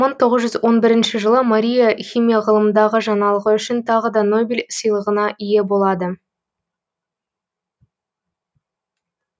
мың тоғыз жүз он бірінші жылы мария химия ғылымындағы жаңалығы үшін тағы да нобель сыйлығына ие болады